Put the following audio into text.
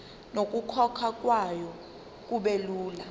nokukhokhwa kwayo kubelula